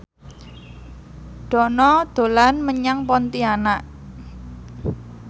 Dono dolan menyang Pontianak